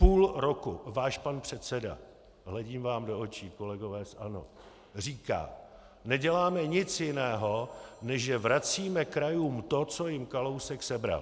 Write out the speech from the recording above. Půl roku váš pan předseda - hledím vám do očí, kolegové z ANO - říká: neděláme nic jiného, než že vracíme krajům to, co jim Kalousek sebral.